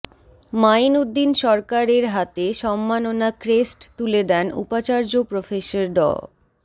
mine Uddin সরকাররের হাতে সম্মাননা ক্রেস্ট তুলে দেন উপাচার্য প্রফেসর ড